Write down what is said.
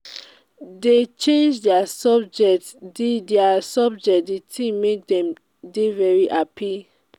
dey change their subjects the their subjects the thing make dem very um happy